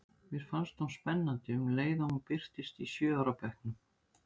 Mér fannst hún spennandi um leið og hún birtist í sjö ára bekknum.